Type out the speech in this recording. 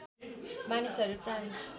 मानिसहरू फ्रान्स